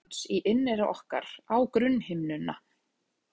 En titringur vökvans í inneyra orkar á grunnhimnuna.